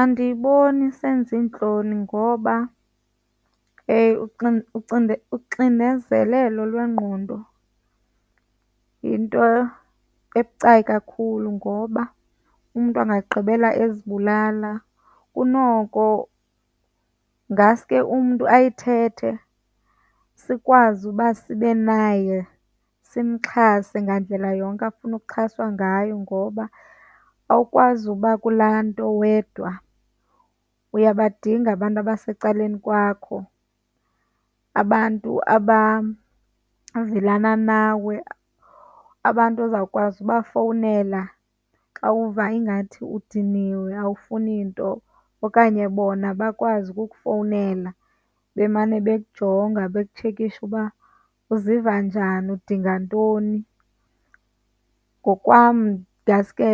Andiyiboni isenza iintloni ngoba uxinezelelo lwengqondo yinto ebucayi kakhulu ngoba umntu angagqibela ezibulala. Kunoko ngaske umntu ayithethe, sikwazi uba sibe naye, simxhase ngandlela yonke afuna ukuxhaswa ngayo. Ngoba awukwazi uba kulaa nto wedwa. Uyabadinga abantu abasecaleni kwakho, abantu abavelana nawe, abantu ozawukwazi ubafowunela xa uva ingathi udiniwe, awufuni nto okanye bona bakwazi ukukufowunela bemane bekujonga, bekutshekisha uba uziva njani, udinga ntoni. Ngokwam ngaske